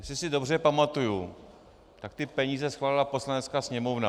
Jestli si dobře pamatuji, tak ty peníze schválila Poslanecká sněmovna.